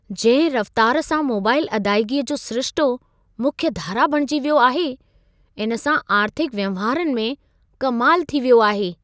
जंहिं रफ़्तार सां मोबाईल अदाइगीअ जो सिरिशितो मुख्य धारा बणिजी वियो आहे। इन सां आर्थिक वहिंवारनि में कमाल थी वियो आहे।